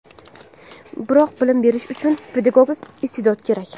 Biroq bilim berish uchun pedagogik iste’dod kerak.